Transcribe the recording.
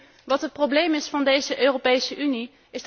Weet u wat het probleem is van deze Europese Unie?